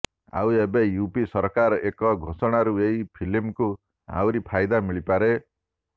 ଆଉ ଏବେ ୟୁପି ସରକାରଙ୍କ ଏକ ଘୋଷଣାରୁ ଏହି ଫିଲ୍ମକୁ ଆହୁରି ଫାଇଦା ମିଳିପାରେ